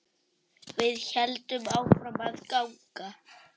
Við héldum áfram að ganga.